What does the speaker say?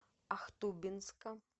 ахтубинска